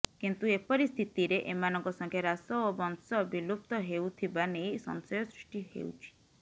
କିନ୍ତୁ ଏପରି ସ୍ଥିତିରେ ଏମାନଙ୍କ ସଂଖ୍ୟା ହ୍ରାସ ଓ ବଂଶ ବିଲୁପ୍ତ ହେଉଥିବା ନେଇ ସଂଶୟ ସୃଷ୍ଟି ହେଉଛି